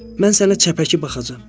Mən sənə çəpəki baxacaqam.